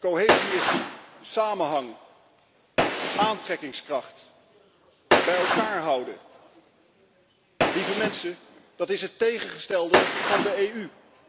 Cohesie betekent samenhang, aantrekkingskracht, bij elkaar houden. Lieve mensen, dat is het tegengestelde van de EU!